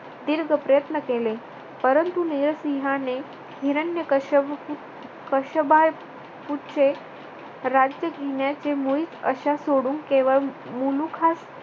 दीर्घ प्रयत्न केले, परंतु नरसिंहाने हिरण्यकश्यप कश्य पूचे राज्य घेण्याचे मुळीच आशा सोडून केवळ मुलुखास